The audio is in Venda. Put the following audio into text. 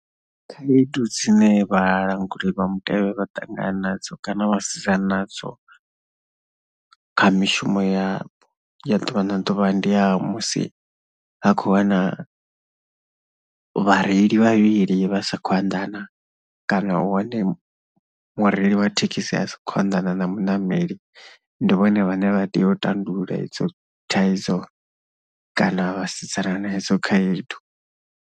Khaedu dzine vhalanguli vha mutevhe vha ṱangana nadzo kana vha sedzana nadzo kha mishumo ya, ya ḓuvha na ḓuvha ndi ya musi vha khou wana vhareili vhavhili vha sa khou anḓana kana u hone mureili wa thekhisi a sa khou anḓana na muṋameli. Ndi vhone vhane vha tea u tandulula idzo thaidzo kana vhasidzana hedzo khaedu.